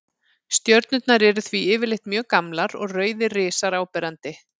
Stjörnurnar eru því yfirleitt mjög gamlar og rauðir risar áberandi.